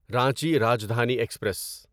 Ranchi Rajdhani express